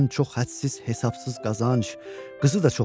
Gətirsin çox hədsiz, hesabsız qazanc.